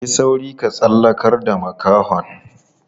Yi sauri ka tsallakar da makahon.